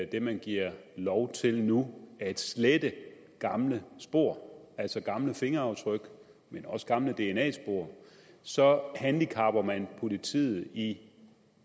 det man giver lov til nu at slette gamle spor altså gamle fingeraftryk men også gamle dna spor så handicapper man politiet i